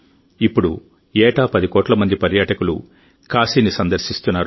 ఇప్పుడు ఏటా 10 కోట్ల మంది పర్యాటకులు కాశీని సందర్శిస్తున్నారు